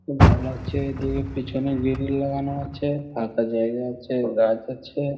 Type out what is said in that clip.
খুব ভালো লাগছে এদিকে পিছনে গ্রিল লাগানো আছে ফাঁকা জায়গা আছে গাছ আছে।